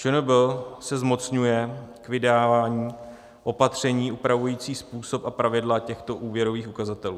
ČNB se zmocňuje k vydávání opatření upravující způsob a pravidla těchto úvěrových ukazatelů.